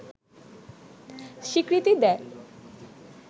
স্বীকৃতি দেয়